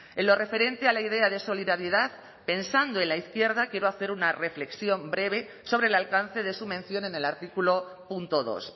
en lo referente a la idea de solidaridad pensando en la izquierda quiero hacer una reflexión breve sobre el alcance de su mención en el artículo punto dos